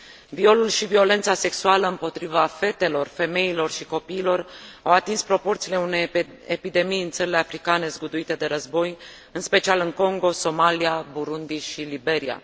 Violul și violența sexuală împotriva fetelor, femeilor și copiilor au atins proporțiile unei epidemii în țările africane zguduite de război, în special în Congo, Somalia, Burundi și Liberia.